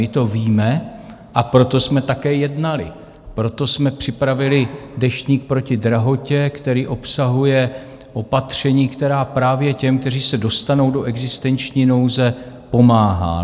My to víme, a proto jsme také jednali, proto jsme připravili Deštník proti drahotě, který obsahuje opatření, která právě těm, kteří se dostanou do existenční nouze, pomáhají.